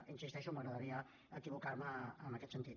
hi insisteixo m’agradaria equivocar me en aquest sentit